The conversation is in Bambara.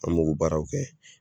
An m'o k'o baaraw kɛ.